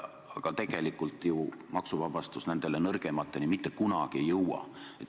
Aga tegelikult ju maksuvabastus nende nõrgemateni mitte kunagi ei jõua.